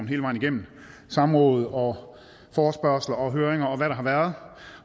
hele vejen igennem samråd og forespørgsler og høringer og hvad der har været